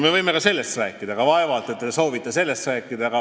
Me võime ka sellest rääkida, aga vaevalt te soovite sellest rääkida.